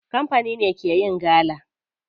Kamfani ne ke yin gala.